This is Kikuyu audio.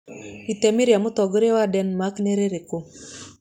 Itemi rĩa Mũtongoria wa Denmark nĩ rĩrĩkũ?